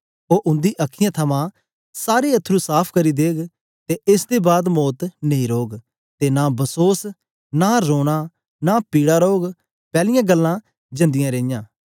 ओ उंदी अखीयाँ थमां सारे अथरू साफ़ करी देग ते एस दे बाद मौत नेई रौग ते नां बसोस न रोना नां पीड़ा रौग पैलियां गल्लां जांदियां रेईयां